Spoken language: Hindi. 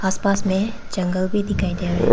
आस पास में जंगल भी दिखाई दे रहे--